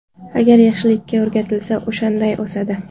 Agar yaxshilikka o‘rgatilsa, o‘shanday o‘sadi.